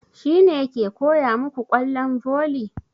Shi ne ke koya muku ƙwallon volley?